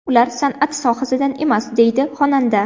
Ular san’at sohasidan emas”, deydi xonanda.